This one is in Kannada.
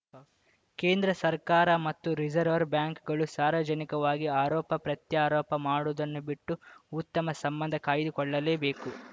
ಕೇಂದ್ರ ಸರ್ಕಾರ ಮತ್ತು ರಿಸರ್ವರ್ ಬ್ಯಾಂಕ್‌ಗಳು ಸಾರ್ವಜನಿಕವಾಗಿ ಆರೋಪ ಪ್ರತ್ಯಾರೋಪ ಮಾಡುವುದನ್ನು ಬಿಟ್ಟು ಉತ್ತಮ ಸಂಬಂಧ ಕಾಯ್ದುಕೊಳ್ಳಲೇಬೇಕು